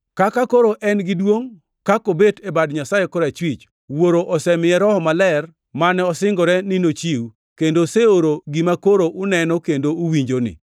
Kaka koro en gi duongʼ, kobet e bad Nyasaye korachwich, Wuoro osemiye Roho Maler mane osingore ni nochiw, kendo oseoro gima koro uneno kendo uwinjoni.”